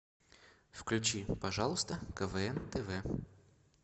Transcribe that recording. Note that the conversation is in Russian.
включи пожалуйста квн тв